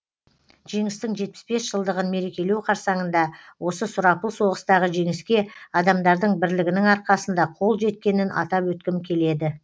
жеңістің жетпіс бес жылдығын мерекелеу қарсаңында осы сұрапыл соғыстағы жеңіске адамдардың бірлігінің арқасында қол жеткенін атап өткім келеді